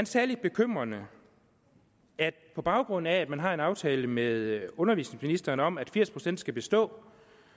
sagde lidt bekymrende at på baggrund af at man har en aftale med undervisningsministeren om at firs procent skal bestå